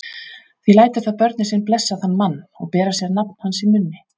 Því lætur það börnin sín blessa þann mann og bera sér nafn hans á munni.